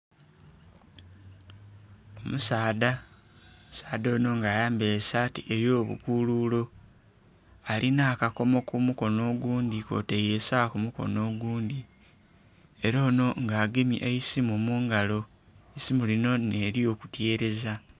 Omusaadha, omusaadha ono nga ayambaire esaati eyo bukululo alina akakomo kumukono ogundhi kw'otaire esawa kumukono ogundhi era ono nga agemye eisimu mungalo, eisimu lino n'eryo kutereza.